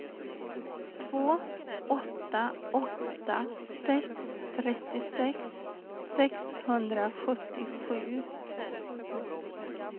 två åtta åtta sex trettiosex sexhundrasjuttiosju